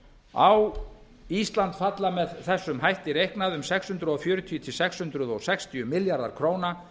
á ísland falla með þessum hætti reiknað um sex hundruð fjörutíu til sex hundruð sextíu milljarðar króna